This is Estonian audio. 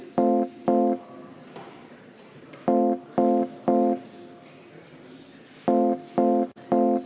Oleme töö päevakorrapunktiga lõpetanud.